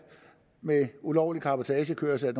med ulovlig cabotagekørsel